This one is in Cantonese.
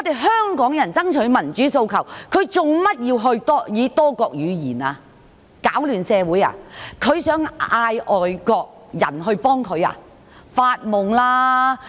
香港人爭取民主訴求，他為何要以多國語言讀出，想攪亂社會，想叫外國人幫忙嗎？